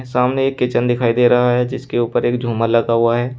सामने एक किचन दिखाई दे रहा है जिसके ऊपर एक झूमर लगा हुआ है।